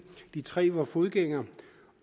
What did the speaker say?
tre var fodgængere